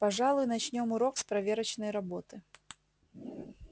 пожалуй начнём урок с проверочной работы